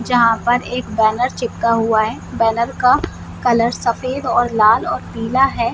जहां पर एक बैनर चिपका हुआ है बैनर का कलर सफेद और लाल और पीला है।